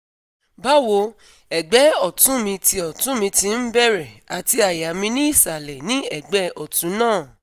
Bawo, ẹgbẹ́ ọ̀tún mi ti ọ̀tún mi ti ń bẹ̀rẹ̀ àti àyà mi ni isalẹ ní ẹgbẹ́ ọ̀tún náà